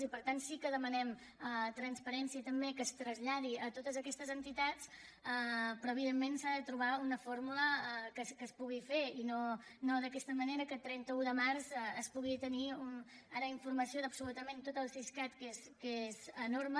i per tant sí que hi demanem transparència i també que es traslladi a totes aquestes entitats però evidentment s’ha de trobar una fórmula que es pugui fer i no d’aquesta manera que el trenta un de març es pugui tenir ara informació d’absolutament tot el siscat que és enorme